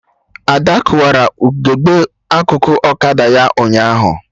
Ada kụwara ugegbe akụkụ ọkada ya ụnyaahụ